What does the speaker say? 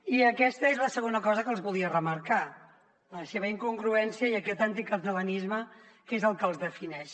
i aquesta és la segona cosa que els volia remarcar la seva incongruència i aquest anticatalanisme que és el que els defineix